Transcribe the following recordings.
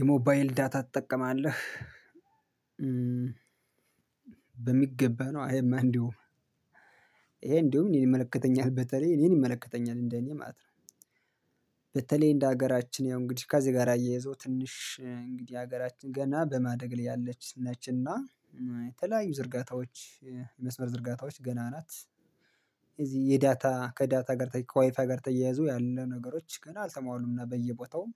የሞባይል ዳታ ትጠቀማለህ? በሚገባ ነው አይማ እንዲሁ ይሄ እንዲሁ እኔን ይመለከተኛል በተለይ እኔን ይመለከተኛል እንደኔ ማለት ነው። በተለይ እንደ ሀገራችን ያው እንግዲህ ከዚህ ጋር አያይዞ ትንሽ እንግዲህ ሀገራችን ገና በማደግ ላይ ያለችነችና የተለያዩ ዝርጋታዎች መስመር ዝርጋታዎች ገና ናት። እዚህ የዳታ ከዳታ ጋር ከዋይፍ ጋር ተያያዙ ያለ ነገሮች ገና አልሰማሁም እና በየቦታውም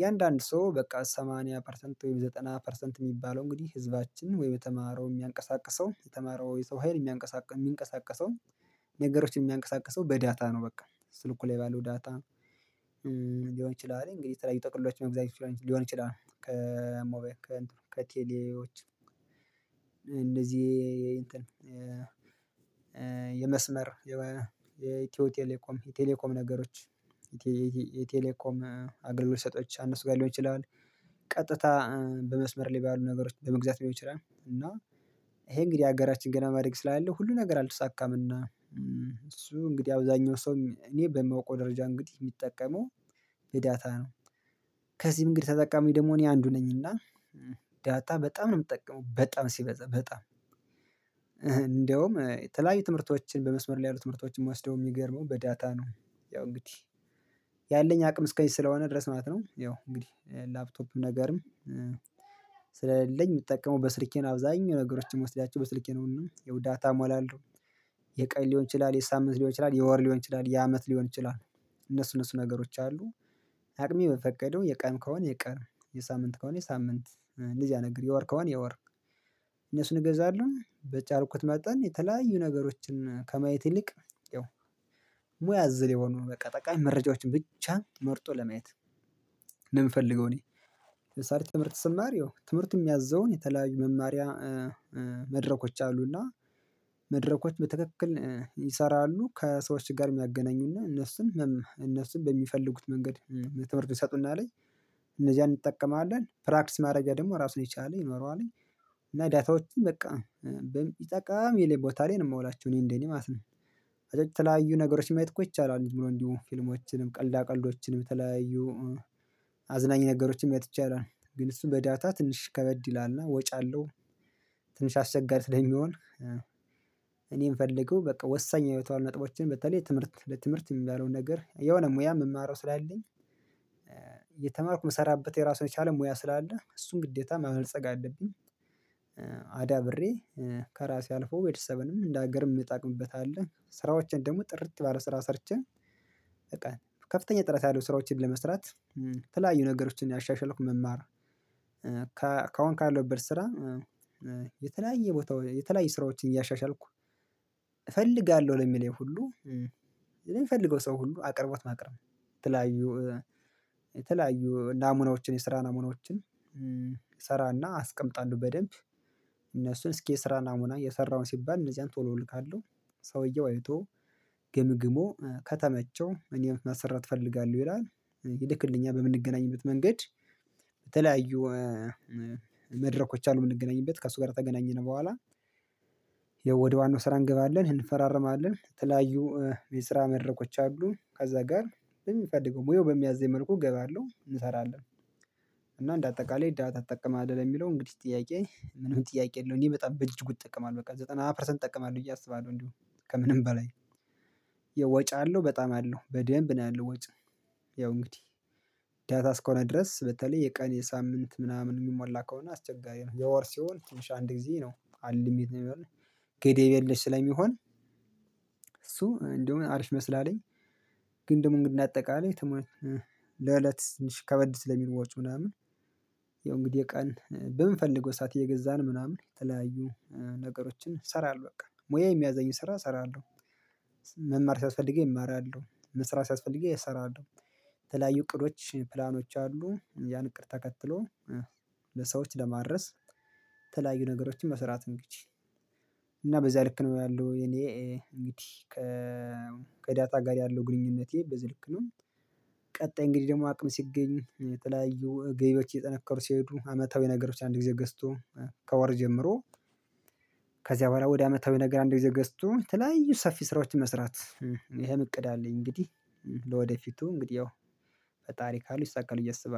የአንዳንድ ሰው በቃ 80 ፐርሰንት ወይ 90 ፐርሰንት የሚባለው እንግዲህ ህዝባችን ወይ በተማረው የሚያንቀሳቅሰው የተማረው የሰው ሀይል የሚንቀሳቀሰው ነገሮች የሚንቀሳቀሰው በዳታ ነው። በቃ ስልኩ ላይ ባለው ዳታ ሊሆን ይችላል እንግዲህ ተለያዩ ጥቅሎች መግዛት ሊሆን ይችላል። ከቴሌዎች እንደዚህ የመስመር የመስመር የኢትዮ ቴሌኮም የቴሌኮም ነገሮች የቴሌኮም አገልግሎት ሰጥቼ ከእነሱ ጋር ሊሆን ይችላል። ቀጥታ በመስመር ባሉ ነገሮች ለመግዛት ሊሆን ይችላል። እና ይሄ እንግዲህ ሀገራችን ገና በማደግ ስላለ ሁሉ ነገር አልተሳካም። እና እሱ እንግዲህ አብዛኛው ሰው እኔ በማውቀው ደረጃ እንግዲህ እሚጠቀመው በዳታ ነው። ከዚህም እንግዲህ ተጠቃሚው ደግሞ እኔ አንዱ ነኝና ዳታ በጣም ነው እምጠቀመው በጣም ሲበዛ በጣም እንደውም የተለያዩ ትምህርቶችን በመስመር ላይ ያሉ ትምህርቶችን እምወስደው እሚገርመው በዳታ ነው። ያው እንግዲህ ያለኝ አቅም እስከ እዚህ ስለሆነ ድረስ ማለት ነው። ያው እንግዲህ ላፕቶፕም ነገርም ስለሌለኝ እምጠቀመው በስልኬ ነው። አብዛኛው ነገሮችን እምወስዳቸው በስልኬ ነው ያው ዳታ እሞላለሁ። የቀኝ ሊሆን ይችላል የሳምንት ሊሆን ይችላል የወር ሊሆን ይችላል የዓመት ሊሆን ይችላል እነሱ እነሱ ነገሮች አሉ። አቅሜ በፈቀደው የቀን ከሆነ የቀን የሳምንት ከሆነ የሳምንት እንደዚያ ነገር የወር ከሆነ የወር እነሱን እገዛለሁ። በቻልኩት መጠን የተለያዩ ነገሮችን ከማየት ይልቅ ያው ሙያ አዘል የሆኑ በቃ ጠቃሚ መረጃዎችን ብቻ መርጦ ለማየት ነው የምፈልገው። እኔ ትምህርት ስማር ይው ትምህርት የሚያዘውን የተለያዩ መማሪያ መድረኮች አሉና መድረኮች በተክክል ይሰራሉ ከሰዎች ጋር የሚያገናኙና እነሱም እነሱም በሚፈልጉት መንገድ ትምህርቱን ይሰጡናል። እነዚያን እንጠቀማለን ፕራክቲስ ማድረጊያ ደግሞ እራሱን የቻለ ይኖረዋል። እና ዳታዎችን በቃ ጠቃሚ የሆነ ቦታ ላይ ነው የማውላችው እኔ እንደኔ ማለት ነው። ከዛ የተለያዩ ነገሮችን ማየት ይቻላል እንዲሁ ፊልሞችንም ቀልዳ ቀልዶችንም የተለያዩ አዝናኝ ነገሮችን አይቼ አላውቅም ግን እሱም በዳታ ትንሽ ከበድ ይላልና ወጪ አለው። ትንሽ አስቸጋሪ ስለሚሆን እኔ የምፈልገው በቃ ወሳኝ አይነት ነጥቦችን በተለይ ትምህርት ለትምህርት የሚባለውን ነገር የሆነ ሙያ የምማረው ስላለኝ እየተማርኩ የምሰራበት የራሱን የቻለ ሙያ ስላለ እሱን ግዴታ ማበልጸግ አለብኝ። አዳብሬ ከራሴ አልፎ ቤተሰብንም እንደ ሀገርም እምጠቅምበታለሁ ስራዎችን ደግሞ ጥርት ባለ ስራ ሰርቼ በቃ ከፍተኛ ጥራት ያለው ስራዎችን ለመስራት። የተለያዩ ነገሮችን እያሻሽልኩ መማር ከአሁን ካለሁበት ስራ የተለያየ ቦታ የተለያየ ስራዎችን እያሻሻልኩ እፈልጋለሁ ለሚለኝ ሁሉ ለሚፈልገው ሰው ሁሉ አቅርቦት ማቅረብ ነው። የተለያዩ የተለያዩ ናሙናዎችን የስራ ናሙናዎችን እሰራና አስቀምጣለሁ በደንብ። እነሱን እስኪ የስራ ናሙና የሰራሄው ሲባል እነዚያን ቶሎ እልካለሁ። ሰውየው አይቶ ገምግሞ ከተመቸው እኔን ማሰራት እፈልጋለሁ ይላል። ይልክልኛል በምንገናኝበት መንገድ። በተለያዩ መድረኮች አሉ የምንገናኝበት ከእሱ ጋር ተገናኘን በኋላ ወደ ዋናው ስራ እንገባለን እንፈራረማለን የተለያዩ የስራ መድረኮች አሉ። ከዛ ጋር የሚፈልገው ሙያው በሚያዘኝ መልኩ እገባለሁ እንሰራለን። እና እንደ አጠቃላይ ዳታ ትጠቀማለህ? የሚለው እንግዲህ ጥያቄ ምንም ጥያቄ የለውም እኔ በጣም በእጅጉ እጠቀማለሁ በቃ ዘጠና ፐርሰንት እጠቀማለሁ ቢዬ አስባለሁ ነው። እንዲሁ ከምንም በላይ የወጪ አለው በጣም አለው በደንብ ነው ያለው ወጪ። ያው እንግዲህ ዳታ እስከሆነ ድረስ በተለይ የቀን የሳምንት ምናምን የሚሞላ ከሆነ አስቸጋሪ ነው የወር ሲሆን ትንሽ አንድ ጊዜ ነው አንልሚት ነው የሚሆነው። ገደብ የለሽ ስለሚሆን እሱ እንደውም አሪፍ ይመስለኛል። ግን ደግሞ እንደ አጠቃላይ ተሟልቶ ለእለት ትንሽ ከበድ ስለሚል ወጪ ምናምን። ያው እንግዲህ የቀን በምንፈልገው ሰዓት እየገዛን ምናምን የተለያዩ ነገሮችን እሰራለሁ በቃ ሙያ የሚያዘኝን ስራ እሰራለሁ። መማር ሲያስፈልገኝ እማራለሁ መስራት ሲያስፈገኝ እሰራለሁ። የተለያዩ እቅዶች ፕላኖች አሉ። ያን እቅድ ተከትሎ ለሰዎች ለማድረስ የተለያዩ ነገሮችን መስራት ነው። እንግዲህ እና በዚያ ልክ ነው ያለው። የእኔ እንግዲህ ከዳታ ጋር ያለው ግንኙነቴ በዚህ ልክ ነው። ቀጣይ እንግዲህ ደግሞ አቅም ሲገኝ የተለያዩ ገቢዎች እየጠነከሩ ሲሄዱ አመታዊ ነገሮች አንድ ጊዜ ገዝቶ ከወር ጀምሮ ከዚያ በኋላ ወደ አመታዊ ነገር አንድ ጊዜ ገዝቶ የተለያዩ ሰፊ ስራዎችን መስራት ይሄም እቅድ አለኝ። እንግዲህ ለወደፊቱ እንግዲህ ያው ፈጣሪ ካለው ይሳካል ቢዬ አስባለሁ